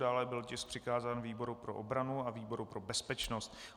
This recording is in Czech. Dále byl tisk přikázán výboru pro obranu a výboru pro bezpečnost.